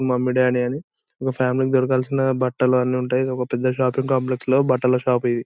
మొమ్మీదడ్డి అని ఒక ఫామిలీ కి దొరకాల్సిన బట్టలన్నీ ఉంటాయి ఇదొక పెద్ద షాపింగ్ కాంప్లెక్స్ లో బట్టల షాప్ ఇది.